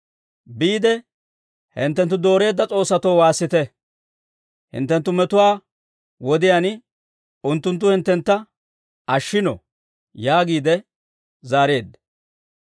Biide hinttenttu dooreedda s'oossatoo waassite. Hinttenttu metuwaa wodiyaan unttunttu hinttentta ashshino» yaagiide zaareedda.